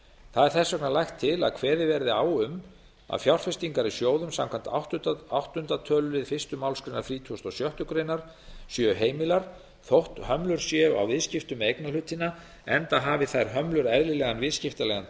það er þess vegna lagt til að kveðið verði á um að fjárfestingar í sjóðum samkvæmt áttunda tölulið fyrstu málsgrein þrítugustu og sjöttu greinar séu heimilar þótt hömlur séu á viðskiptum með eignarhlutina enda hafi þær hömlur eðlilegan viðskiptalegan